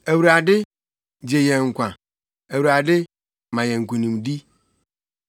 Awurade, gye yɛn nkwa; Awurade, ma yɛn nkonimdi.